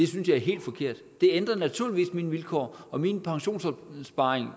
synes jeg er helt forkert det ændrer naturligvis mine vilkår og min pensionsopsparing